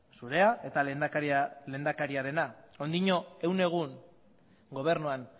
zurea eta lehendakariarena oraindik gaur egun gobernuan